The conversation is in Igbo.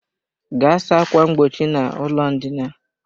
Gaa saa ákwà mgbochi n'ụlọ ndina!